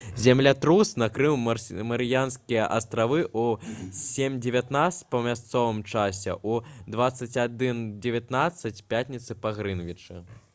землятрус накрыў марыянскія астравы ў 07:19 па мясцовым часе у 21:19 пятніцы па грынвічы